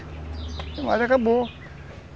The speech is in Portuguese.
Não mais, acabou.